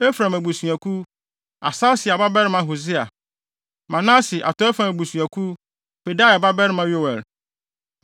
Efraim abusuakuw: Asasia babarima Hosea; Manase (atɔe fam) abusuakuw: Pedaia babarima Yoel;